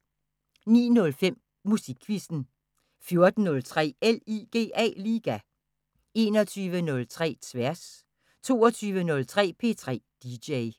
09:05: Musikquizzen 14:03: LIGA 21:03: Tværs 22:03: P3 DJ